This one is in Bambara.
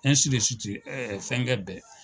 ɛɛ fɛnkɛ bɛɛ.